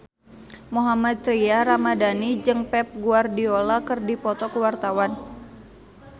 Mohammad Tria Ramadhani jeung Pep Guardiola keur dipoto ku wartawan